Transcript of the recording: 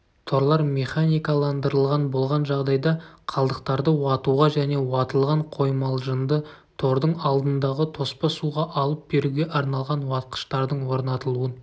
торлар механикаландырылған болған жағдайда қалдықтарды уатуға және уатылған қоймалжынды тордың алдындағы тоспа суға алып беруге арналған уатқыштардың орнатылуын